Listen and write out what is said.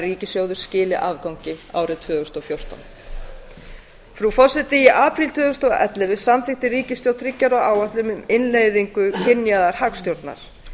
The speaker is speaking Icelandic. ríkissjóður skili afgangi árið tvö þúsund og fjórtán frú forseti í apríl tvö þúsund og ellefu samþykkti ríkisstjórn þriggja ára áætlun um innleiðingu kynjaðrar hagstjórnar